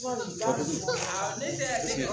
Ne tɛ